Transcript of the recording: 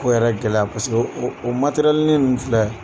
Ko yɛrɛ gɛlɛya kosɛbɛ o o matɛrɛlinin ninnu filɛ